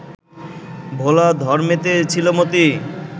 ভোলা ধরমেতে ছিল মতি